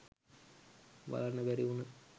බලන්න බැරි වුන